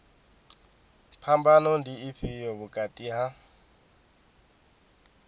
phambano ndi ifhio vhukati ha